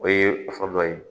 O ye fɛn dɔ ye